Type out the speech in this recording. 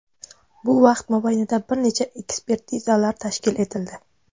Bu vaqt mobaynida bir necha ekspertizalar tashkil etildi.